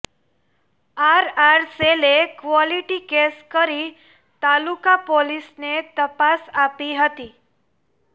RR સેલે quality case કરી તાલુકા પોલીસને તપાસ આપી હતી